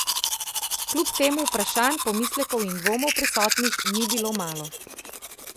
Kljub temu vprašanj, pomislekov in dvomov prisotnih ni bilo malo.